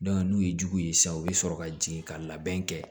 n'u ye jugu ye sisan u bɛ sɔrɔ ka jigin ka labɛn kɛ